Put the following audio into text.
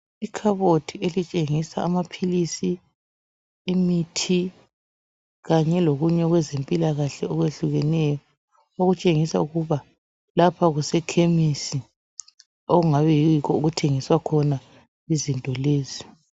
Ikhabothi elitshengisa amaphilisi, imithi kanye lokunye okwezempilakahle okwehlukeneyo okutshengisa ukuba lapha kusekhemisi okungabe yikho okuthengiswa khona izinto lezi.